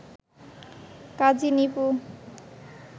Kazi Nipu